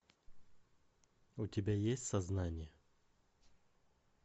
у тебя есть сознание